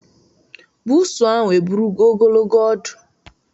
Buusu ahụ eburogo ogologo ọdụ.